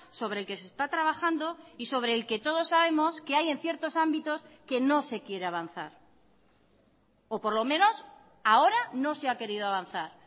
sobre el que se está trabajando y sobre el que todos sabemos que hay en ciertos ámbitos que no se quiere avanzar o por lo menos ahora no se ha querido avanzar